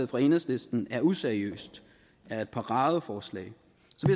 fra enhedslisten er useriøst og er et paradeforslag